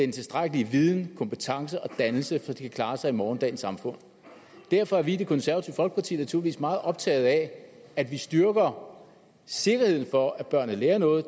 tilstrækkelig viden kompetence og dannelse til at de kan klare sig i morgendagens samfund derfor er vi i det konservative folkeparti naturligvis meget optaget af at vi styrker sikkerheden for at børnene lærer noget